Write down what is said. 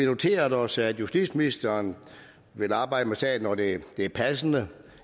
noteret os at justitsministeren vil arbejde med sagen når det er passende